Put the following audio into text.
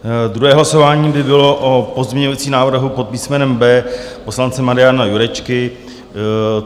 Druhé hlasování by bylo o pozměňovacím návrhu pod písmenem B poslance Mariana Jurečky.